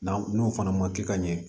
N'an n'o fana ma kɛ ka ɲɛ